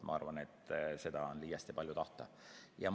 Ma arvan, et see oleks liiast ja seda oleks palju tahta.